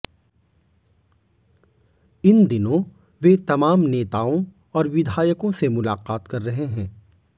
इन दिनों वे तमाम नेताओं और विधायकों से मुलाकात कर रहे हैं